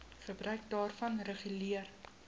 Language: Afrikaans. gebruik daarvan reguleer